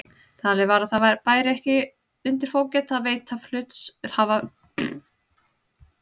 Talið var að það bæri ekki undir fógeta að veita hluthafa slíkan aðgang.